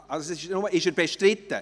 Ist dieser Artikel bestritten?